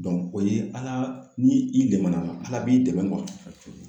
o ye ala ni i dɛmɛna, ala b'i dɛmɛ